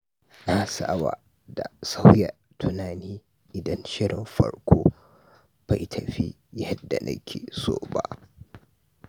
Na saba da sauya tunani idan shirin farko bai tafi yadda na ke so ba.